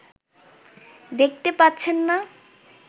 দেখতে পাচ্ছেন না